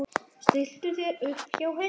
Stilltu þér upp hjá henni.